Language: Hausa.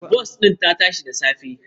Bas ɗin ta tashi da safe.